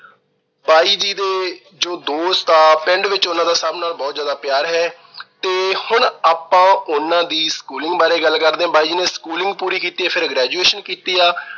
ਬਾਈ ਜੀ ਦੇ ਜੋ ਦੋਸਤ ਆ ਪਿੰਡ ਵਿੱਚ ਉਹਨਾਂ ਦਾ ਸਭ ਨਾਲ ਬਹੁਤ ਜਿਆਦਾ ਪਿਆਰ ਹੈ ਤੇ ਹੁਣ ਆਪਾ ਉਹਨਾਂ ਦੀ schooling ਬਾਰੇ ਗੱਲ ਕਰਦੇ ਆ। ਬਾਈ ਜੀ ਨੇ schooling ਪੂਰੀ ਕੀਤੀ। ਫਿਰ graduation ਕੀਤੀ ਆ।